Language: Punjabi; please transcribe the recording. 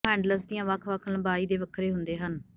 ਉਹ ਹੈਂਡਲਸ ਦੀਆਂ ਵੱਖ ਵੱਖ ਲੰਬਾਈ ਦੇ ਵੱਖਰੇ ਹੁੰਦੇ ਹਨ